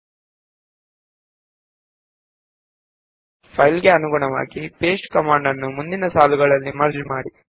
paste command ಎನ್ನುವುದು ಎರಡು ಅಥವಾ ಹೆಚ್ಚಿನ ಫೈಲ್ ಗಳ ಲೈನ್ ಗಳನ್ನು ಒಂದೇ ಫೈಲ್ ನಲ್ಲಿ ಸೇರಿಸುತ್ತದೆ